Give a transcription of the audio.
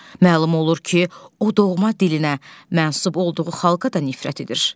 Məlum olur ki, o doğma dilinə mənsub olduğu xalqa da nifrət edir.